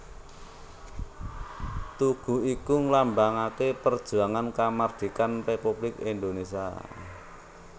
Tugu iki nglambangaké perjuangan kamardhikan Républik Indonésia